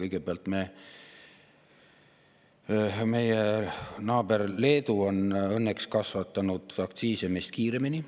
Kõigepealt, meie Leedu on õnneks kasvatanud aktsiise meist kiiremini.